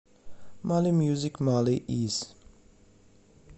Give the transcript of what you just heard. мали мьюзик мали из